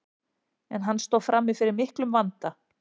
en hann stóð frammi fyrir miklum vanda